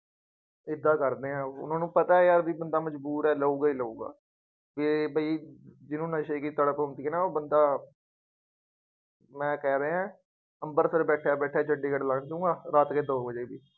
ਏਦਾਂ ਕਰਦੇ ਹੈ ਉਹ, ਉਹਨਾ ਨੂੰ ਪਤਾ ਹੈ ਬਈ ਬੰਦਾ ਮਜ਼ਬੂਰ ਹੈ। ਲਊਗਾ ਹੀ ਲਊਗਾ, ਜੇ ਬਈ ਜਿਹਨੂੰ ਨਸ਼ੇ ਕੀ ਤੜਫ ਹੁੰਦੀ ਹੈ ਨਾ ਉਹ ਬੰਦਾ ਮੈਂ ਕਹਿ ਰਿਹਾਂ ਅੰਮ੍ਰਿਤਸਰ ਬੈਠਿਆ ਬੈਠਿਆਂ ਚੰਡੀਗੜ੍ਹ ਲੰਘ ਜਾਊਗਾ ਰਾਤ ਦੇ ਦੋ ਵਜੇ।